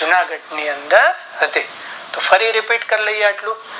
જૂનાગઢ ની અંદર હતી તો ફરી રિપીટ કરી લાયે આટલું